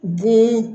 Bun